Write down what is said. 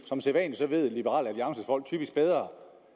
som sædvanlig ved liberal alliances folk typisk bedre om